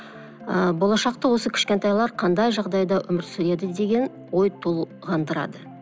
ыыы болашақта осы кішкентайлар қандай жағдайда өмір сүреді деген ой толғандырады